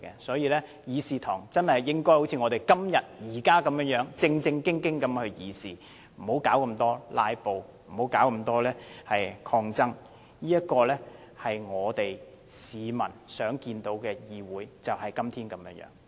所以，希望日後議事堂真的好像今天般，議員正經地議事，不要搞這麼"拉布"、搞這麼抗爭，市民想看見的議會就是今天這樣。